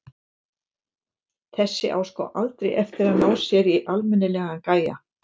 Þessi á sko aldrei eftir að ná sér í almennilegan gæja.